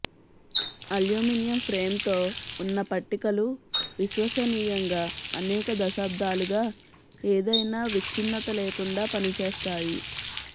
aluminium ఫ్రేమ్తో ఉన్న పట్టికలు విశ్వసనీయంగా అనేక దశాబ్దాలుగా ఏదైనా విచ్ఛిన్నత లేకుండా పనిచేస్తాయి